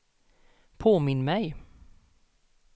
påminn mig